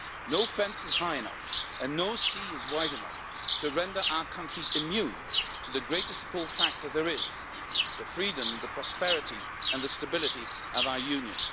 No fence is high enough and no sea is wide enough to render our countries immune to the greatest pull factor there is the freedom, the prosperity and the stability of our Union.